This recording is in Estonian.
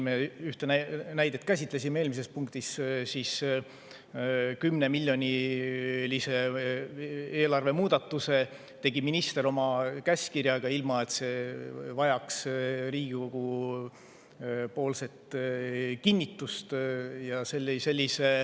Me ühte näidet käsitlesime eelmises punktis: 10‑miljonilise eelarvemuudatuse tegi minister oma käskkirjaga, ilma et see oleks vajanud Riigikogu kinnitust.